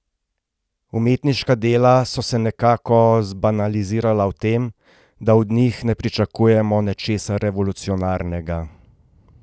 Umetniška dela so se nekako zbanalizirala v tem, da od njih ne pričakujemo nečesa revolucionarnega.